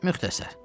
Müxtəsər.